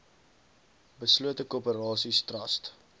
beslote korporasies trust